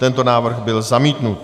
Tento návrh byl zamítnut.